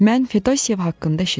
Mən Fedosiyev haqqında eşitmişdim.